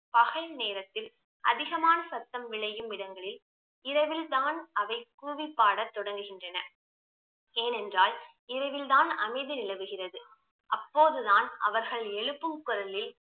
பகல் நேரத்தில் அதிகமான சத்தம் விளையும் இடங்களில் இரவில் தான் அவை கூவி பாட தொடங்குகின்றன ஏனென்றால் இரவில் தான் அமைதி நிலவுகிறது அப்போதுதான் அவர்கள் எழுப்பும் குரலில்